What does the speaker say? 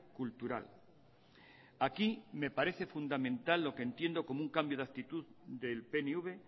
cultural aquí me parece fundamental lo que entiendo como un cambio de actitud del pnv